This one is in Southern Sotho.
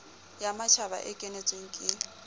ya matjhaba e kenetsweng ke